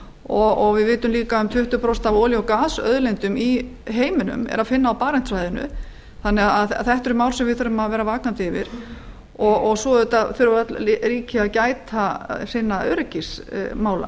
og við vitum líka að um tuttugu prósent af olíu og gasauðlindum í heiminum er að finna á barentssvæðinu við þurfum því að vera vakandi gagnvart þessu og að sjálfsögðu þurfa öll ríki að gæta öryggismála sinna